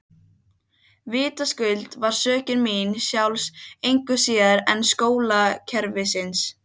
Vitaskuld var sökin mín sjálfs engu síður en skólakerfisins.